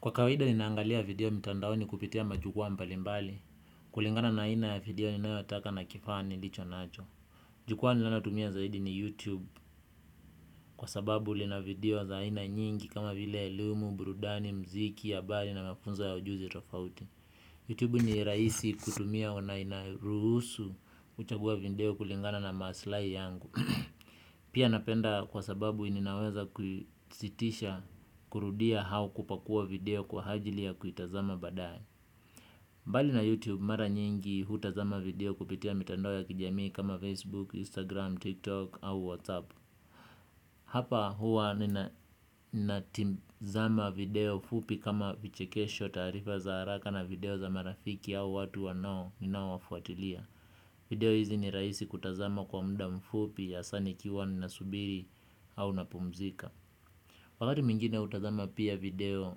Kwa kawaida ninaangalia video mtandaoni kupitia majukua mbalimbali. Kulingana na aina ya video ninayotaka na kifaa ni licho nacho. Jukua ninalo tumia zaidi ni YouTube. Kwa sababu lina video za aina nyingi kama vile elimu, burudani, muziki, habari na mafunzo ya ujuzi tofauti. YouTube ni rahisi kutumia na inaruhusu kuchagua video kulingana na maslahi yangu. Pia napenda kwa sababu ninaweza kuisitisha kurudia au kupakua video kwa ajili ya kuitazama baadaye. Mbali na youtube mara nyingi hutazama video kupitia mitandao ya kijamii kama facebook, instagram, tiktok au whatsapp. Hapa huwa ninatazama video fupi kama vichekesho taarifa za haraka na video za marafiki au watu wa nao ninao wafuatilia. Video hizi ni rahisi kutazama kwa muda mfupi, hasa nikiwa na subiri au na pumzika. Wakati mwingine hutazama pia video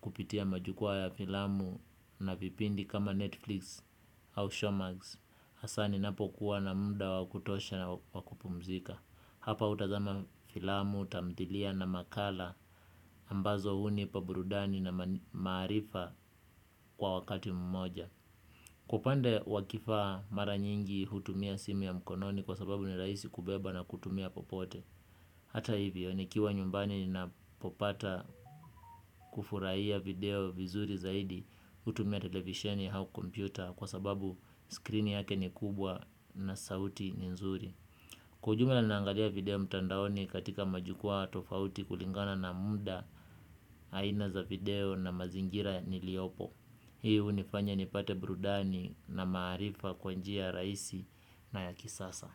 kupitia majukua ya filamu na vipindi kama Netflix au Showmax hasa ninapokuwa na muda wakutosha na wakupumzika. Hapa hutazama filamu, tamthilia na makala ambazo hunipa burudani na maarifa kwa wakati mmoja. Kwa upande wakifaa mara nyingi hutumia simu ya mkononi kwa sababu ni rahisi kubeba na kutumia popote. Hata hivyo ni kiwa nyumbani ni napopata kufurahia video vizuri zaidi hutumia televisheni au kompyuta kwa sababu skrini yake ni kubwa na sauti ni nzuri. Kwa ujumila nina angalia video mtandaoni katika majukua tofauti kulingana na muda aina za video na mazingira ni liopo. Hii hunifanya nipate brudani na maarifa kwa njia rahisi na ya kisasa.